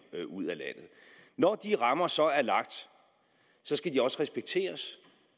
ud af landet når de rammer så er lagt skal de også respekteres